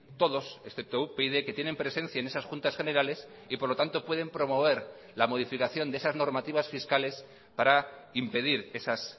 todos excepto upyd que tienen presencia en esas juntas generales y por lo tanto pueden promover la modificación de esas normativas fiscales para impedir esas